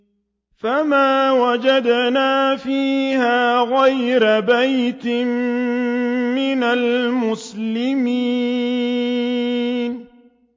فَمَا وَجَدْنَا فِيهَا غَيْرَ بَيْتٍ مِّنَ الْمُسْلِمِينَ